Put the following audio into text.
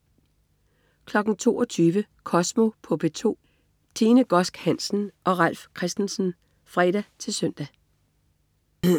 22.00 Kosmo på P2. Tine Godsk Hansen og Ralf Christensen (fre-søn)